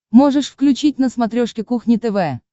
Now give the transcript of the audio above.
можешь включить на смотрешке кухня тв